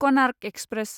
Konark express